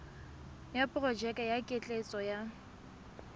ya porojeke ya ketleetso ya